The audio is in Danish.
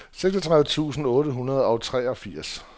seksogtredive tusind otte hundrede og treogfirs